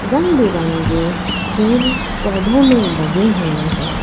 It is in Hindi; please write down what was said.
रंग बिरंगे फूल पौधों में लगे हुए हैं।